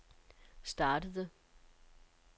startede